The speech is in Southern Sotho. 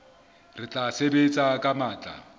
re tla sebetsa ka matla